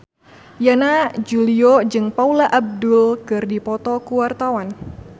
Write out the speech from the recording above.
Yana Julio jeung Paula Abdul keur dipoto ku wartawan